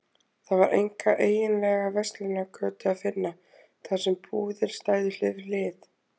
Það var enga eiginlega verslunargötu að finna, þar sem búðir stæðu hlið við hlið.